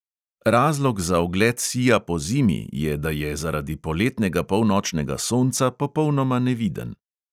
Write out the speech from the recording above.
Razlog za ogled sija pozimi je, da je zaradi poletnega polnočnega sonca popolnoma neviden.